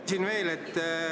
Küsin veel.